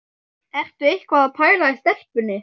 Ertu eitthvað að pæla í stelpunni?